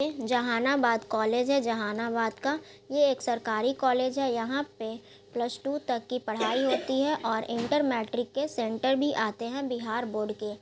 ये जहानाबाद कॉलेज है जहानाबाद का ये एक सरकारी कॉलेज है यहाँ पे प्लस टू तक की पढ़ाई होती है और इंटर मैट्रिक के सेंटर भी आते हैं बिहार बोर्ड के।